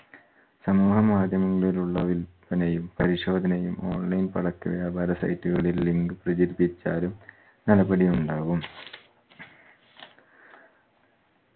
സമൂഹ മാധ്യമങ്ങളിലുള്ള വിൽപ്പനയും പരിശോധനയും online പടക്ക വ്യാപാര site ഉകളിൽ link പ്രചരിപ്പിച്ചാലും നടപടിയുണ്ടാവും